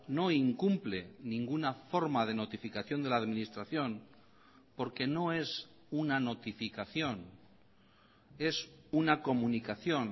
no incumple ninguna forma de notificación de la administración porque no es una notificación es una comunicación